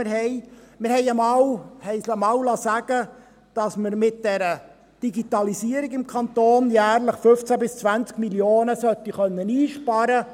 Wir haben uns einmal sagen lassen, dass wir mit der Digitalisierung im Kanton jährlich 15–20 Mio. Franken einsparen können sollten.